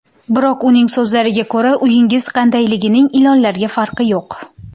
Biroq, uning so‘zlariga ko‘ra, uyingiz qandayligining ilonlarga farqi yo‘q.